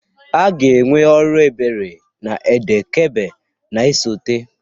A ga-enwe ọrụ ebere n'Eid-el-Kabir na-esote.